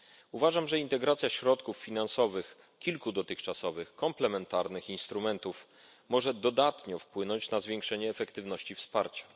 Uważam, że integracja środków finansowych kilku dotychczasowych komplementarnych instrumentów może dodatnio wpłynąć na zwiększenie efektywności wsparcia.